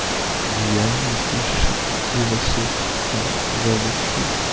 езжай услышишь этот голосок воочию